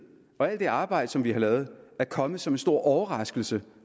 og alt det arbejde vi har lavet er kommet som en stor overraskelse